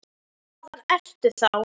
Hvaðan ertu þá?